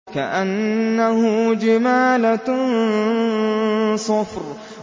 كَأَنَّهُ جِمَالَتٌ صُفْرٌ